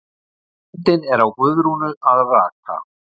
Myndin er af Guðrúnu að raka.